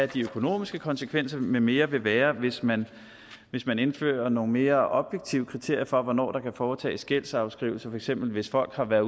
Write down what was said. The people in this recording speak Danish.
de økonomiske konsekvenser med mere vil være hvis man hvis man indfører nogle mere objektive kriterier for hvornår der kan foretages gældsafskrivning for eksempel hvis folk har været